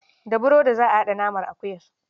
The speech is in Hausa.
Da burodi za a haɗa naman akuyar.